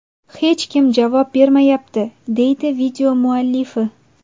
Hech kim javob bermayapti”, – deydi video muallifi.